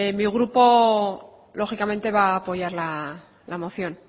mi grupo lógicamente va a apoyar la moción